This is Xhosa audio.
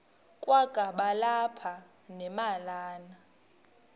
kwakaba lapha nemalana